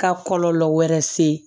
Ka kɔlɔlɔ wɛrɛ se